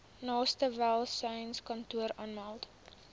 naaste welsynskantoor aanmeld